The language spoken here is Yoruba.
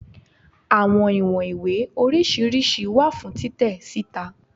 Awọn iwọn iwe oriṣiriṣi wa fun titẹ sita